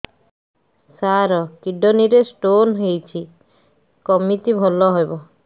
ସାର kidney ରେ stone ହେଇଛି କମିତି ଭଲ ହେବ